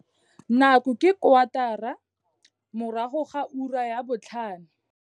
Nako ke kwatara morago ga ura ya botlhano.